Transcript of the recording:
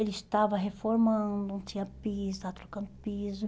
Eles estava reformando, não tinha piso, estava trocando piso.